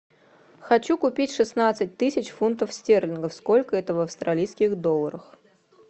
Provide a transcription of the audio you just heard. хочу купить шестнадцать тысяч фунтов стерлингов сколько это в австралийских долларах